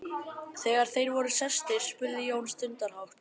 Þegar þeir voru sestir spurði Jón stundarhátt